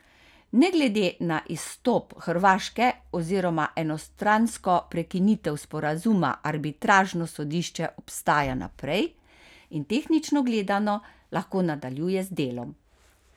Ne glede na izstop Hrvaške oziroma enostransko prekinitev sporazuma arbitražno sodišče obstaja naprej in tehnično gledano lahko nadaljuje z delom.